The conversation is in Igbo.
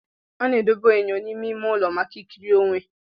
A na-edobe enyo n'ime ime ụlọ maka ikiri onwe.